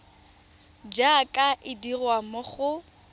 jaaka e dirwa mo go